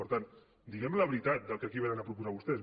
per tant diguem la veritat del que aquí vénen a proposar vostès